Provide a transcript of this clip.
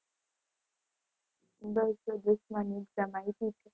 બસ આ દસમાની exam આયપી છે.